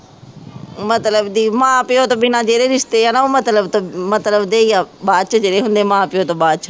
ਮਤਲਬ ਦੀ ਮਾਂ ਪਿਉ ਤੋਂ ਬਿਨਾ ਜਿਹੜੇ ਰਿਸ਼ਤੇ ਹੈ ਨਾ ਉਹ ਮਤਲਬ ਤੱਕ ਮਤਲਬ ਦੇ ਹੈ ਬਾਅਦ ਚ ਜਿਹੜੇ ਹੁੰਦੇ ਮਾਂ ਪਿਉ ਤੋਂ ਬਾਅਦ ਚ